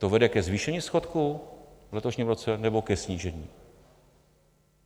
To vede ke zvýšení schodku v letošním roce, nebo ke snížení?